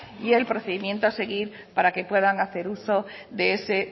y el procedimiento a seguir para que puedan hacer uso de ese